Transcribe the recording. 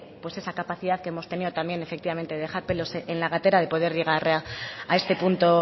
pues esa capacidad que hemos tenido también efectivamente dejar pelos en la gatera de poder llegar a este punto